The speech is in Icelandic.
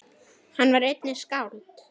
Hann var einnig skáld.